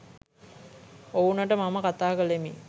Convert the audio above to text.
ඔවුනට මම කතා කලෙමි